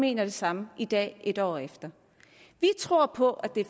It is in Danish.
mener det samme i dag et år efter vi tror på at det